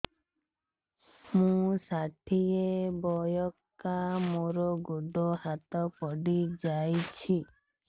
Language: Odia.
ମୁଁ ଷାଠିଏ ବୟସ୍କା ମୋର ଗୋଡ ହାତ ପଡିଯାଇଛି